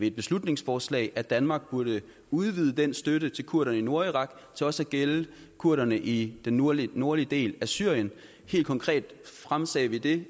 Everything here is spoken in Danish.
et beslutningsforslag at danmark burde udvide den støtte til kurderne i nordirak til også at gælde kurderne i den nordlige nordlige del af syrien helt konkret fremsatte vi det